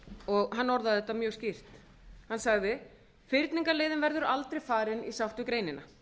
og hann orðaði þetta mjög skýrt hann sagði fyrningarleiðin verður aldrei farin í sátt við greinina